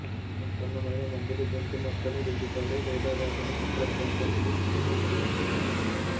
ఉత్పన్నమైన మందులు గొంతు మచ్చలు రుద్దుతారు లేదా వాటిని కంప్రెస్ దరఖాస్తు చేసుకున్నారు